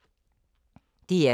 DR2